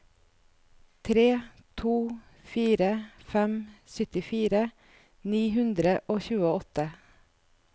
tre to fire fem syttifire ni hundre og tjueåtte